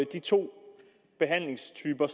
de to behandlingstyper